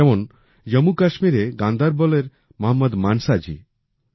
যেমন জম্মুকাশ্মীরে গান্দারবলএর মহম্মদ মানসা জি